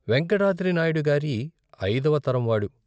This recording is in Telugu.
వేంకటాద్రినాయుడిగారి ఐదవ తరంవాడు.